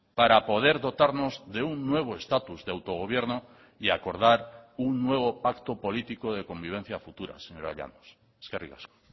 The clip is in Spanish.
para poder dotarnos de un nuevo estatus de autogobierno y acordar un nuevo pacto político de convivencia futura señora llanos eskerrik asko